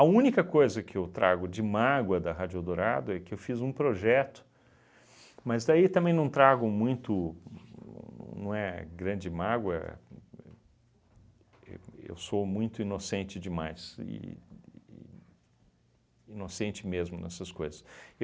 única coisa que eu trago de mágoa da Rádio Eldorado é que eu fiz um projeto, mas daí também não trago muito, n não é grande mágoa, eu eu sou muito inocente demais, e e inocente mesmo nessas coisas.